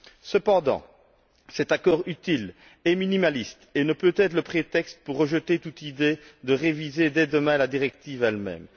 Cependant, cet accord utile est minimaliste et ne peut servir de prétexte pour rejeter toute idée de réviser, dès demain, la directive elle même.